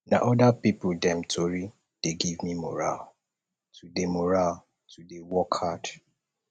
na other pipu dem tori dey give me morale to dey morale to dey work hard